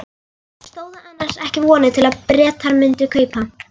Stóðu annars ekki vonir til að Bretar mundu kaupa?